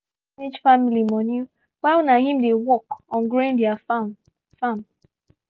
na she dey manage family money while na him dey work on growing their farm farm